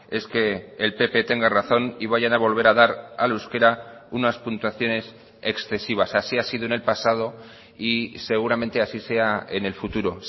es que el pp tenga razón y vayan a volver a dar al euskera unas puntuaciones excesivas así ha sido en el pasado y seguramente así sea en el futuro